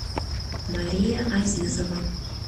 мария азизова